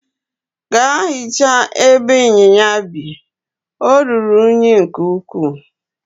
Gaa hichaa ebe inyinya bi, ọ ruru unyi nke ukwuu!